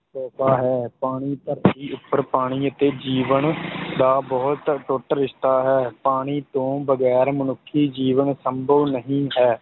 ਤੋਹਫ਼ਾ ਹੈ ਪਾਣੀ ਧਰਤੀ ਉੱਪਰ ਪਾਣੀ ਅਤੇ ਜੀਵਨ ਦਾ ਬਹੁਤ ਅਟੁੱਟ ਰਿਸ਼ਤਾ ਹੈ, ਪਾਣੀ ਤੋਂ ਬਗ਼ੈਰ ਮਨੁੱਖੀ ਜੀਵਨ ਸੰਭਵ ਨਹੀਂ ਹੈ।